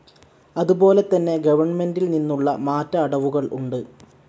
അതുപോലെതന്നെ ഗവണ്മെൻ്റിൽനിന്നുള്ള മാറ്റ അടവുകൾ ഉണ്ട്.